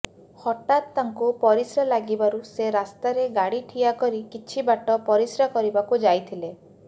ହଠାତ୍ ତାଙ୍କୁ ପରିଶ୍ରା ଲାଗିବାରୁ ସେ ରାସ୍ତାରେ ଗାଡ଼ି ଛିଡା କରି କିଛି ବାଟ ପରିଶ୍ରା କରିବାକୁ ଯାଇଥିଲେ